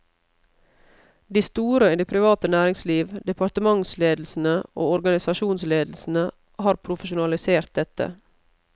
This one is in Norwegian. De store i det private næringsliv, departementsledelsene og organisasjonsledelsene har profesjonalisert dette.